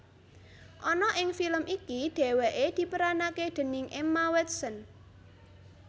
Ana ing film iki dheweke diperanake déning Emma Watson